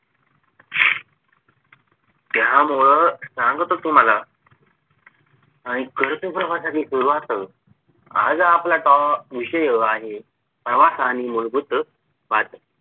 त्यामुळं सांगतो तुम्हाला आणि करतो प्रवासाची सुरुवात आज आपला टॉ विषय आहे. प्रवास आणि मूलभूत बात